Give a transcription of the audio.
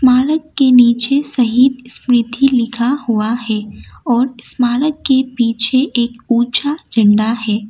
Park के नीचे शहीद स्मृति लिखा हुआ है और स्मारक के पीछे एक ऊचा झण्डा है।